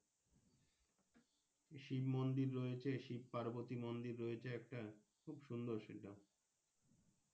শিব মন্দির রয়েছে শিবপার্বতী মন্দির রয়েছে একটা খুব সুন্দর সেটা